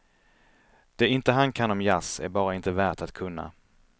Det inte han kan om jazz är bara inte värt att kunna.